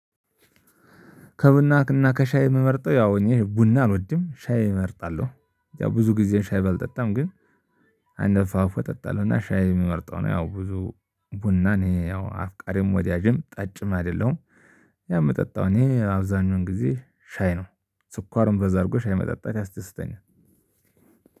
ከቡና እና ከሻይ የምመርጠው ያው ቡና አልወድም። ሻይ እመርጣለሁ። ብዙ ጊዜ ሻይ ባልጠጣም ግን አንድ አፋፉ እጠጣለሁና ሻይ የሚመርጠው ነው። ያው ብዙ ቡና እኔ ያው አፍቃሪም ወዳጅም ጠጭም አይደለሁም። ያው ምጠጣው እኔ አብዛኛውን ጊዜ ሻይ ነው። ስኳርም በዛ አርጎ ሻሂ መጠጣት ያስደስተኛል።